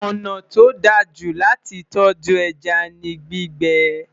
ọnà tó dá jù láti tọju ẹja ní gbígbé